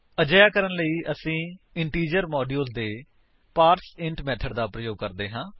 ਅਜਿਹਾ ਕਰਨ ਲਈ ਅਸੀ ਇੰਟੀਜਰ ਮੋਡਿਊਲ ਦੇ ਪਾਰਸੈਂਟ ਮੇਥਡ ਦਾ ਪ੍ਰਯੋਗ ਕਰਦੇ ਹਾਂ